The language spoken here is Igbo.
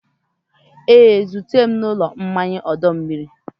Ee, zute m n'ụlọ mmanya ọdọ mmiri.